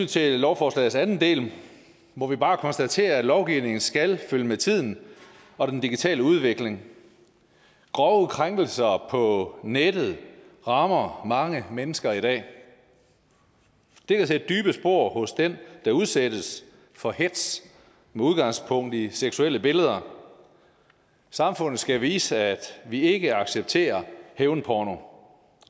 til lovforslagets anden del må vi bare konstatere at lovgivningen skal følge med tiden og den digitale udvikling grove krænkelser på nettet rammer mange mennesker i dag det kan sætte dybe spor hos dem der udsættes for hetz med udgangspunkt i seksuelle billeder samfundet skal vise at vi ikke accepterer hævnporno